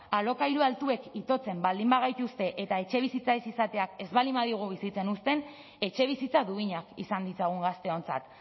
alokairua altuek itotzen baldin bagaituzte eta etxebizitza ez izateak ez baldin badigu bizitzen uzten etxebizitza duinak izan ditzagun gazteontzat